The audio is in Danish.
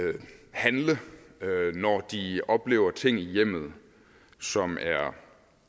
handle når de oplever ting i hjemmet som er